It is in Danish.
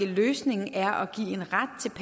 løsningen er